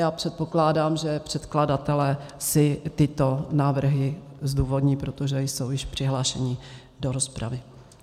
Já předpokládám, že předkladatelé si tyto návrhy zdůvodní, protože jsou již přihlášeni do rozpravy.